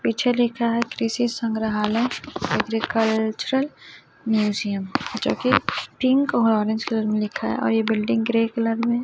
पीछे लिखा है कृषि संग्रहालय एग्रीकल्चरल म्यूजियम जो कि पिंक और ऑरेंज कलर में लिखा है और ये बिल्डिंग ग्रे कलर में --